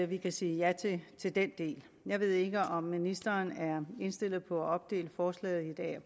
vi kan sige ja til til den del jeg ved ikke om ministeren er indstillet på at opdele forslaget i et a og